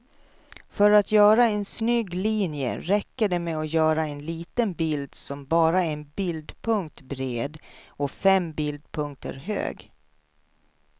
För att göra en snygg linje räcker det med att göra en liten bild som bara är en bildpunkt bred och fem bildpunkter hög.